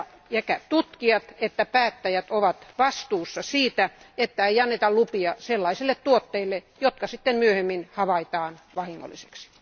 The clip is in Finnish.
Sekä tutkijat että päättäjät ovat vastuussa siitä, että lupia ei anneta sellaisille tuotteille, jotka sitten myöhemmin havaitaan vahingollisiksi.